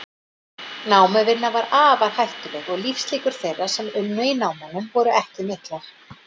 Námuvinna var afar hættuleg og lífslíkur þeirra sem unnu í námunum voru ekki miklar.